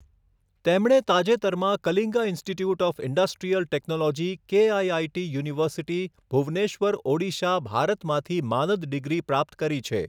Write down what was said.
તેમણે તાજેતરમાં Kalinga institute of industrial technology KIIT university, Bhubaneswar, Odisha, ભારતમાંથી માનદ ડિગ્રી પ્રાપ્ત કરી છે.